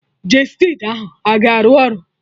Gestid ahụ a ga-arụ ọrụ?